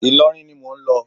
Ìlọrin ni mò ń lọ.